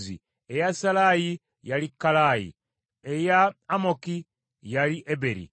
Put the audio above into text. eya Sallayi, yali Kallayi; eya Amoki, yali Eberi;